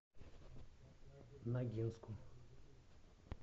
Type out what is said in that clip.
ногинску